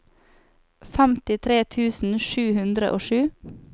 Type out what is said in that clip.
femtitre tusen sju hundre og sju